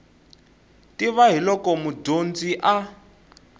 tiva hi loko mudyonzi a